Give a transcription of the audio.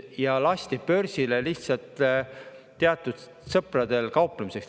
Ja lasti börsile lihtsalt teatud sõpradel kauplemiseks.